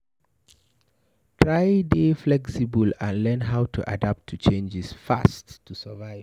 Try dey flexible and learn how to adapt to changes fast to survive